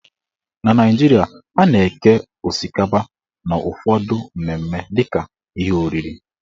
Na Naijiria, a na-eke osikapa n' ụfọdụ mmemme dịka ihe oriri.